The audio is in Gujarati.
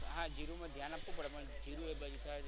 હા જીરું માં ધ્યાન આપવું પડે પણ જીરું એ બાજુ થાય છે.